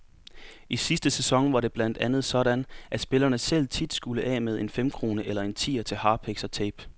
I sidste sæson var det blandt andet sådan, at spillerne selv tit skulle af med en femkrone eller en tier til harpiks og tape.